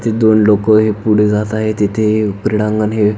इथे दोन लोक हे पुढ जात आहेत तिथे क्रीडांगण हे--